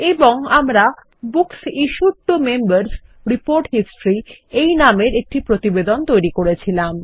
এবংআমরা books issued to Members report Historyএই নামের এর একটি প্রতিবেদনতৈরী করেছিলাম